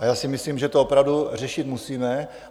A já si myslím, že to opravdu řešit musíme.